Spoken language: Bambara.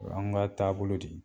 O h'n ka taabolo de